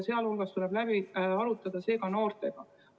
Muu hulgas tuleb see läbi arutada ka noortega.